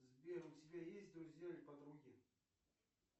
сбер у тебя есть друзья или подруги